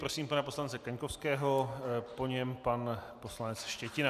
Prosím pana poslance Kaňkovského, po něm pan poslanec Štětina.